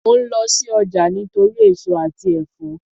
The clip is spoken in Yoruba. Mò ń lọ sí ọjà nítorí èso àti ẹ̀fọ́